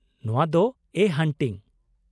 ᱱᱚᱶᱟ ᱫᱚ ' ᱮ ᱦᱚᱱᱴᱤᱝ ᱾